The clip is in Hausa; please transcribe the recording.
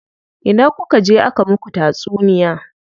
Ina kuka je aka muku tatsuniya?